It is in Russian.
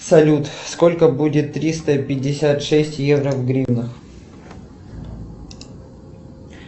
салют сколько будет триста пятьдесят шесть евро в гривнах